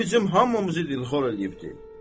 O bizim hamımızı dilxor eləyir.